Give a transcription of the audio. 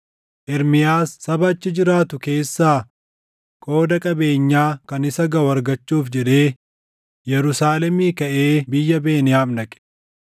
Ermiyaas saba achi jiraatu keessaa qooda qabeenyaa kan isa gaʼu argachuuf jedhee Yerusaalemii kaʼee biyya Beniyaam dhaqe.